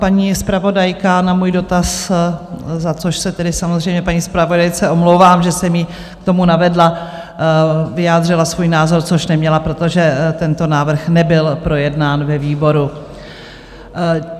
Paní zpravodajka na můj dotaz - za což se tedy samozřejmě paní zpravodajce omlouvám, že jsem ji k tomu navedla - vyjádřila svůj názor, což neměla, protože tento návrh nebyl projednán ve výboru.